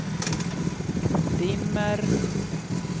dimmer